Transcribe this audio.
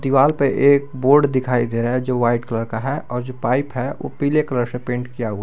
दीवाल पर एक बोर्ड दिखाई दे रहा है जो वाइट कलर का है और जो पाइप है वो पीले कलर से पेंट किया हुआ--